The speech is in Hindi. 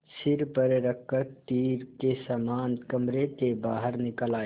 सिर पर रख कर तीर के समान कमरे के बाहर निकल आये